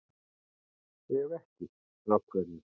Ef ekki, af hverju?